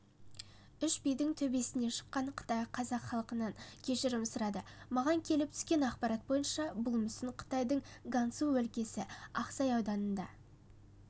үш бидің төбесіне шыққан қытай қазақ халқынан кешірім сұрады маған келіп түскен ақпарат бойынша бұл мүсін қытайдың гансу өлкесі ақсай ауданында